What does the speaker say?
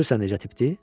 Görürsən necə tipdir?